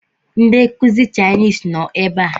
Ndi nkuzi chainisi no ebe a